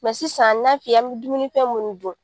sisan na f'i ye an bɛ dumunifɛn minnu dun